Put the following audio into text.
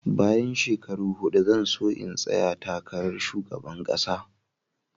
Bayan shekaru huɗu zan so in tsaya takarar Shugaban kasa.